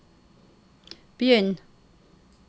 begynn